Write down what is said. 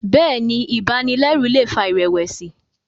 Béèni ibanilẹru lè fà irẹwẹsi.